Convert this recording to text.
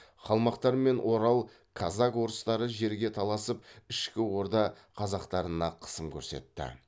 қалмақтар мен орал казак орыстары жерге таласып ішкі орда қазақтарына қысым көрсетті